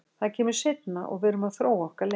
Það kemur seinna og við erum að þróa okkar leik.